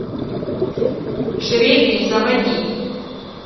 жребий заводи